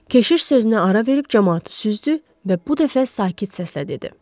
Keşiş sözünə ara verib camaatı süzdü və bu dəfə sakit səslə dedi: